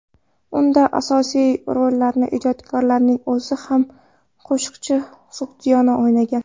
Unda asosiy rollarni ijodkorning o‘zi va qo‘shiqchi Sug‘diyona o‘ynagan.